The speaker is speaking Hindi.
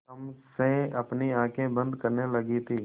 तम से अपनी आँखें बंद करने लगी थी